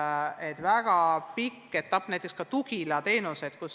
Nii et tegemist on väga pika etapiga näiteks ka Tugila teenuste puhul.